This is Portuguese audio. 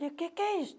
Digo, o que é isso?